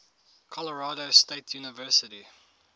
colorado state university